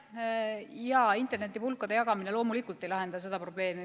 Jaa, internetipulkade jagamine loomulikult ei lahenda seda probleemi.